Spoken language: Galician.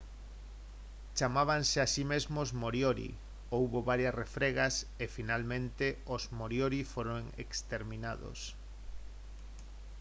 chamábanse a si mesmos moriori houbo varias refregas e finalmente os moriori foron exterminados